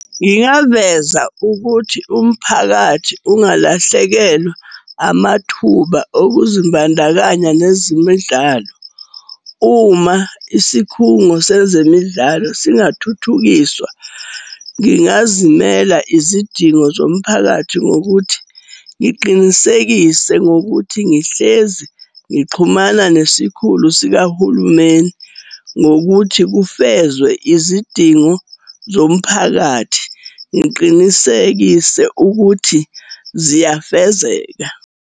Ngingaveza ukuthi umphakathi ungalahlekelwa amathuba okuzimbandakanya nezimidlalo. Uma isikhungo sezemidlalo singathuthukiswa ngingazimela izidingo zomphakathi. Ngokuthi ngiqinisekise ngokuthi ngihlezi ngixhumana nesikhulu sikahulumeni ngokuthi kufezwe izidingo zomphakathi. Ngiqinisekise ukuthi ziyafezeka.